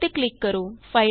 save ਤੇ click ਕਰੋ